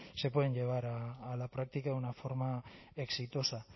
se pueden llevar a la práctica de una forma exitosa